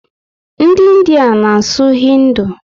Ndị India na asụ hindu